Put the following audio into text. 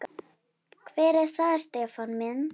Hver er það Stefán minn?